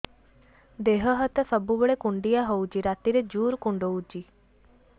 ଦେହ ହାତ ସବୁବେଳେ କୁଣ୍ଡିଆ ହଉଚି ରାତିରେ ଜୁର୍ କୁଣ୍ଡଉଚି